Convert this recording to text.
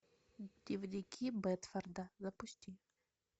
дневники бедфорда запусти